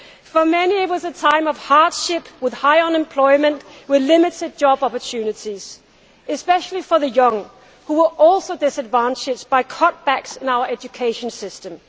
For many it was a time of hardship, with high unemployment and limited job opportunities, especially for the young, who were also disadvantaged by cut backs in our education systems.